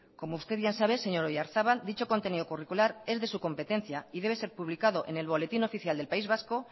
como usted bien sabe señor oyarzabal dicho contenido curricular es de su competencia y debe ser publicado en el boletín oficial del país vasco